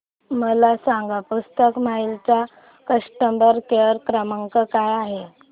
मला सांगा पुस्तक महल चा कस्टमर केअर क्रमांक काय आहे